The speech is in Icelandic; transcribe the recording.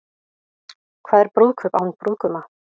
Hvað er brúðkaup án brúðguma?